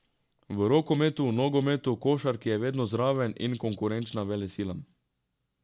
V rokometu, nogometu, košarki je vedno zraven in konkurenčna velesilam.